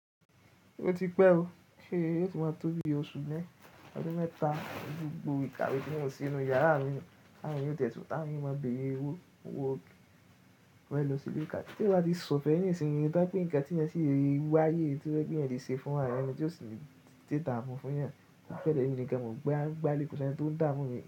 O ti pẹ o, ehhhh yii óò ti máa tó bi oṣù mẹ́taà, gbogbo ìkàwé tí mò ń se ninú yàrá mi, tàwọn èèyàn yóò tẹtún ta wọn èèyàn o mo béèrè owó, owó mo fẹ́ lọ sí ilé-ìkàwé. Tí o bá di sọ̀fẹ́ ní ìsinmi, rí i dápé nǹkan tí ẹ̀yin ṣe rí wá yé, tí ẹ fẹ́ kí ẹ̀yin ṣe fún àwọn ẹnìyàn bí ó ṣe ń dídàmú fún ẹ̀yin, ó fẹ́rẹ̀ẹ́ nìkan mò gbé á gbálè kú sẹ́ní tó ń dámú mi lọ.